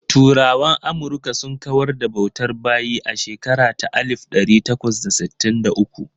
Turawan Amurka sun kawar da bautar bayi a shekara ta alif ɗari takwas da sittin da uku.